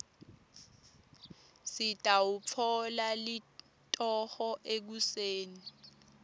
ngitawutfola litoho ekuseni